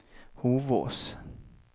Hovås